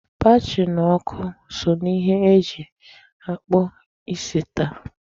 Batri na ọkụ so na ihe eji akpụ isi taa.